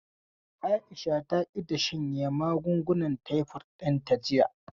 Aisha ta ƙi ta shanye magungunan taifod ɗinta jiya.